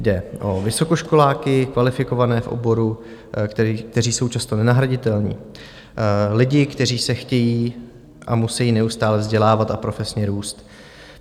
Jde o vysokoškoláky kvalifikované v oboru, kteří jsou často nenahraditelní, lidi, kteří se chtějí a musejí neustále vzdělávat a profesně růst.